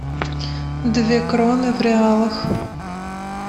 две кроны в реалах